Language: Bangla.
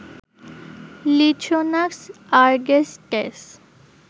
লিথ্রোনাক্স আরগেস্টেস